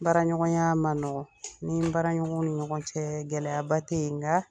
Baraɲɔgɔnya ma nɔgɔ ni baaraɲɔgɔn ni ɲɔgɔn cɛ gɛlɛyaba tɛ yen nka